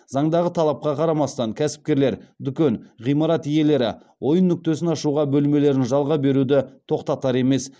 заңдағы талапқа қарамастан кәсіпкерлер дүкен ғимарат иелері ойын нүктесін ашуға бөлмелерін жалға беруді тоқтатар емес